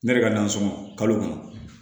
Ne yɛrɛ ka nasɔngɔ kalo kɔnɔ